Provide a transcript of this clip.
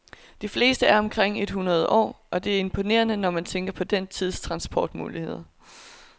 De fleste er omkring et hundrede år, og det er imponerende, når man tænker på den tids transportmuligheder.